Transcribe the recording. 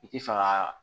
I ti fɛ ka